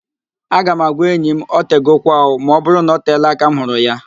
Aga m agwa enyi m, "otegokwa ooo", ma ọbụrụ na-oteela aka m hụrụ ya